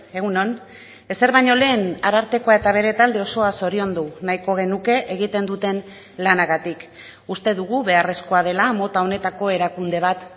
egun on ezer baino lehen arartekoa eta bere talde osoa zoriondu nahiko genuke egiten duten lanagatik uste dugu beharrezkoa dela mota honetako erakunde bat